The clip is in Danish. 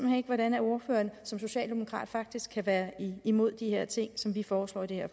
hen ikke hvordan ordføreren som socialdemokrat faktisk kan være imod de her ting som vi foreslår i